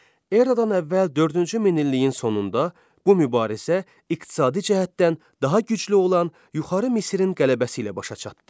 Eradan əvvəl dördüncü minilliyin sonunda bu mübarizə iqtisadi cəhətdən daha güclü olan yuxarı Misrin qələbəsi ilə başa çatdı.